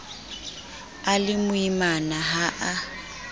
a le moimana ha a